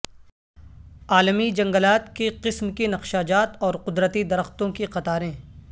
عالمی جنگلات کی قسم کی نقشہ جات اور قدرتی درختوں کی قطاریں